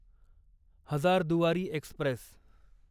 Hazarduari Express